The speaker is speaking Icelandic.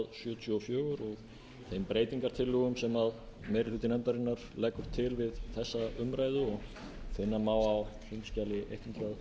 og finna má á þingskjali nítján hundruð sjötíu og fimm ég vil þakka nefndarmönnum í efnahags og skattanefnd bæði í